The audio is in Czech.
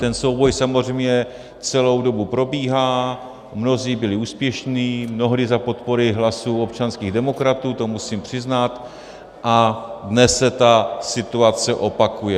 Ten souboj samozřejmě celou dobu probíhá, mnozí byli úspěšní, mnohdy za podpory hlasů občanských demokratů, to musím přiznat, a dnes se ta situace opakuje.